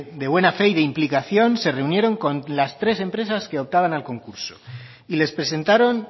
de buena fe y de implicación se reunieron con las tres empresas que optaban al concurso y les presentaron